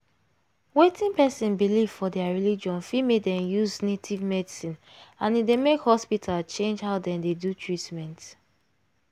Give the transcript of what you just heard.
wetin person believe for their religion fit make dem use native medicine and e dey make hospital change how dem dey do treatment.